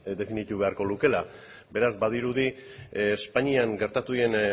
definituko beharko lukeela beraz badirudi espainian gertatu diren